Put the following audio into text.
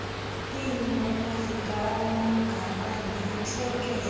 iimbono zikamagaba nentlekele